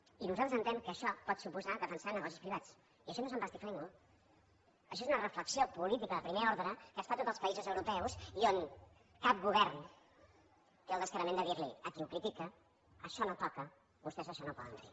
i nosaltres entenem que això pot suposar defensar negocis privats i això no és empastifar ningú això és una reflexió política de primer ordre que es fa en tots els països europeus i on cap govern té la descaradura de dir li a qui ho critica que això no toca vostès això no ho poden fer